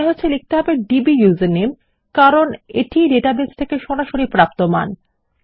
মনে হচ্ছে লিখতে হবে ডিবিইউজারনেম কারণ এটি ই ডেটাবেস থেকে সরাসরি প্রাপ্ত মান